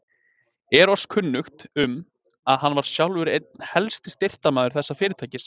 Er oss kunnugt, um, að hann var sjálfur einn helsti styrktarmaður þessa fyrirtækis.